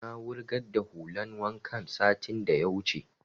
Na wurgar da hulan wankan satin da ya wuce